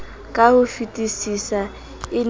ka hofetisisa e ne e